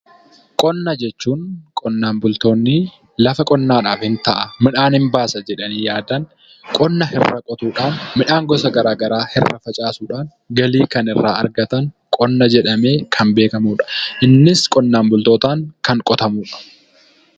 Qonnaa jechuun qonnaan bultoonni lafa qonnaadhaf ni ta'a midhaan ni baasa jedhanii yaadan qonna irraa qotuudhan midhaan irraa facaasuudhaan galii kan irraa argataan qonna jedhamee kan beekkamudha. Innis qonnaan bultootaan kan qotamudha.